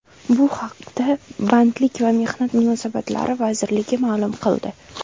Bu haqda Bandlik va mehnat munosabatlari vazirligi ma’lum qildi .